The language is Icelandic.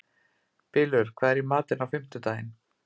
Bylur, hvað er í matinn á fimmtudaginn?